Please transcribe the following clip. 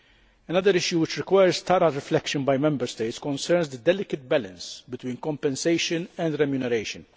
Another issue that requires thorough reflection by Member States concerns the delicate balance between compensation and remuneration.